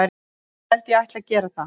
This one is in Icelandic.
Ég held ég ætli að gera það.